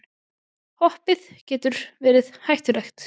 Hoppið getur verið hættulegt